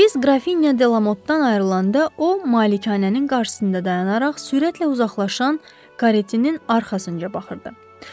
Biz Qrafinya Delamottdan ayrılanda o malikanənin qarşısında dayanaraq sürətlə uzaqlaşan karetinin arxasınca baxırdı.